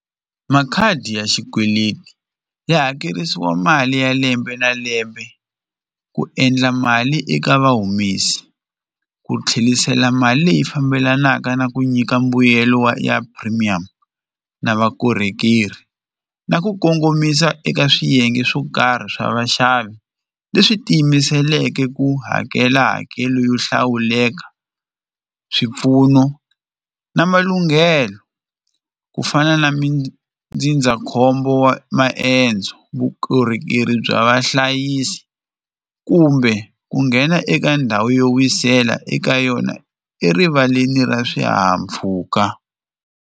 Makhadi ya xikweleti ya hakerisiwa mali ya lembe na lembe ku endla mali eka vahumesi ku tlherisela mali leyi fambelanaka na ku nyika mbuyelo wa ya premium na vakorhokeri na ku kongomisa eka swiyenge swo karhi swa vaxavi leswi tiyimiseleke ku hakela hakelo yo hlawuleka swipfuno na malunghelo ku fana na mindzindzakhombo wa maendzo vukorhokeri bya vahlayisi kumbe ku nghena eka ndhawu yo wisela eka yona erivaleni ra swihahampfhuka.